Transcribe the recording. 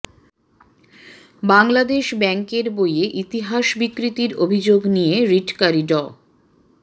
বাংলাদেশ ব্যাংকের বইয়ে ইতিহাস বিকৃতির অভিযোগ নিয়ে রিটকারী ড